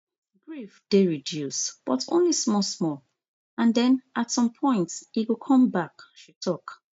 grief dey reduce but only small small and den at some point e go come back she tok